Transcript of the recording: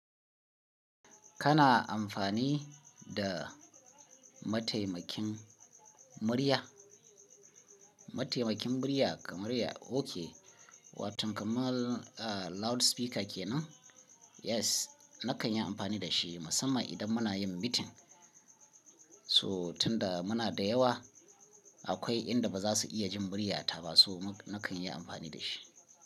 Kana amfani da mataimakin murya? Mataimakin murya kamar ya oke, watan kamar a loudspeaker kenan? Yes, na kan yi amfani da shi musamman idan muna yin meeting. So tunda muna da yawa, akwai inda ba za su iya jin murya ta ba so na kan yi amfani da shi.